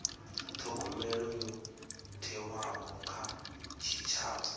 thogomelo yo thewaho kha tshitshavha